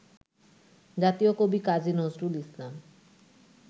জাতীয় কবি কাজী নজরুল ইসলাম